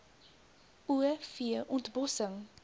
o v ontbossing